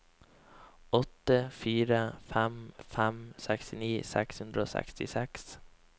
åtte fire fem fem sekstini seks hundre og sekstiseks